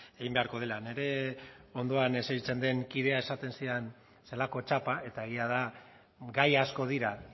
egin beharko dela nire ondoan esertzen den kideak esaten zidan zelako txapa eta egia da gai asko dira